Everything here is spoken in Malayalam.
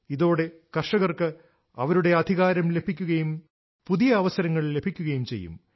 ഇതോടെ കർഷകർക്ക് അവരുടെ അധികാരം ലഭിക്കുകയും പുതിയ അവസരങ്ങൾ ലഭിക്കുകയും ചെയ്യും